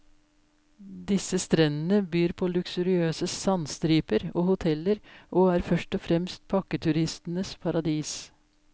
Disse strendene byr på luksuriøse sandstriper og hoteller og er først og fremst pakketuristenes paradis.